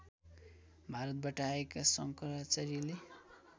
भारतबाट आएका शङ्कराचार्यले